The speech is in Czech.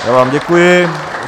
Já vám děkuji.